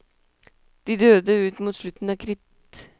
De døde ut mot slutten av kritt.